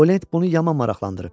O lent bunu yaman maraqlandırıb.